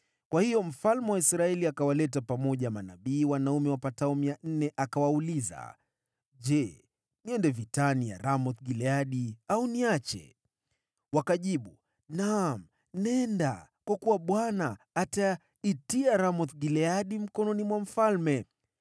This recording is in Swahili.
Kwa hiyo mfalme wa Israeli akawaleta pamoja manabii wanaume wapatao mia nne, akawauliza, “Je, twende vitani dhidi ya Ramoth-Gileadi, au niache?” Wakajibu, “Naam, nenda kwa kuwa Mungu ataiweka Ramoth-Gileadi mkononi mwa mfalme.”